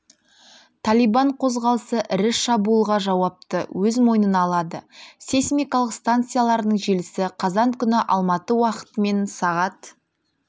талибан қозғалысы ірі шабуылға жауапты өз мойнына алды сейсмикалық станцияларының желісі қазан күні алматы уақытымен сағат